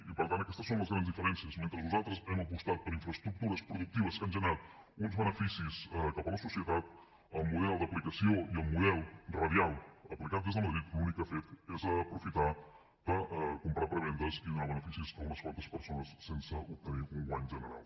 i per tant aquestes són les grans diferències mentre nosaltres hem apostat per infraestructures productives que han generat uns beneficis cap a la societat el model d’aplicació i el model radial aplicat des de madrid l’únic que ha fet és aprofitar comprar prebendes i donar beneficis a unes quantes persones sense obtenir un guany general